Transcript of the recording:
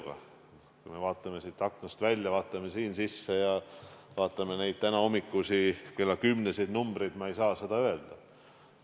Aga kui me vaatame siit aknast välja või vaatame siin sees ringi, vaatame kas või tänahommikusi kella kümneseid numbrilisi andmeid, siis ma ei saa seda öelda.